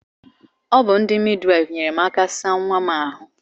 Ọ bụ ndị midwafu nyere m aka saa nwa m ahụ